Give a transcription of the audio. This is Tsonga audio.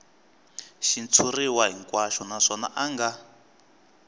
xitshuriwa hinkwaxo naswona a nga